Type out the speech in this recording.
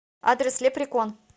адрес лепрекон